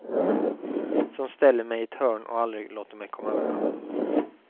Som ställer mig i ett hörn och aldrig låter mig komma undan.